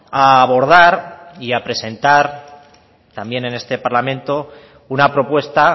a abordar y a presentar también en este parlamento una propuesta